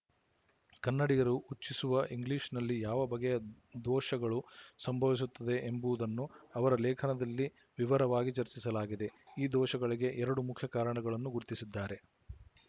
ಕನ್ನಡಿಗರು ಉಚ್ಚಿಸುವ ಇಂಗ್ಲಿಶಿನಲ್ಲಿ ಯಾವ ಬಗೆಯ ದೋಶಗಳು ಸಂಭವಿಸುತ್ತದೆ ಎನ್ನುವುದನ್ನು ಅವರ ಲೇಖನದಲ್ಲಿ ವಿವರವಾಗಿ ಚರ್ಚಿಸಲಾಗಿದೆ ಈ ದೋಶಗಳಿಗೆ ಎರಡು ಮುಖ್ಯ ಕಾರಣಗಳನ್ನು ಗುರುತಿಸಿದ್ದಾರೆ